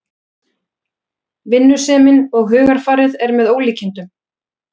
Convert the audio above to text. Vinnusemin og hugarfarið er með ólíkindum